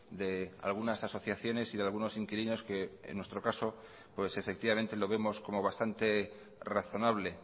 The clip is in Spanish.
de algunas asociaciones y de algunos inquilinos que en nuestro caso pues efectivamente lo vemos como bastante razonable